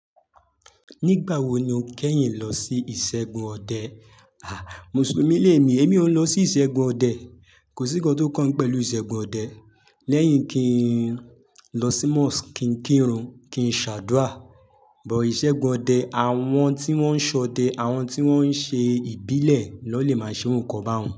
Nígbà wo ni o kẹ́yìn lọ sí ìṣẹ́gun ọdẹ? À, Mùsùlùmí lè mi, èmi ò nlọ sí ìṣẹ́gun ọdẹ. Kò sí nnkan tó kàn pẹ̀lú ìṣẹ́gun ọdẹ. Lẹ́yìn kín lọ sí mosque, kín kírun, kín ṣàdúà. But ìṣẹ́gun ọdẹ, àwọn tí wọ́n ń ṣọdẹ, àwọn tí wọ́n ń ṣe ìbílẹ̀ nọ lè máa ṣe oru nkan bá un.